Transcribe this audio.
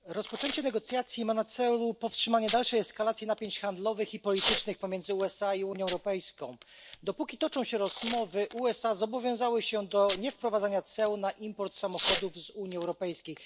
Pani Przewodnicząca! Rozpoczęcie negocjacji ma na celu powstrzymanie dalszej eskalacji napięć handlowych i politycznych pomiędzy USA i Unią Europejską. Dopóki toczą się rozmowy, USA zobowiązały się do niewprowadzania ceł na import samochodów z Unii Europejskiej.